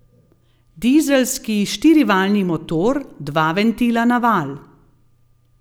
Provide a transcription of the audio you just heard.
Dizelski štirivaljni motor, dva ventila na valj.